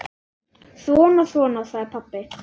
Svona, svona, sagði pabbi.